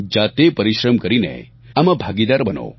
જાતે પરિશ્રમ કરીને આમાં ભાગીદાર બનો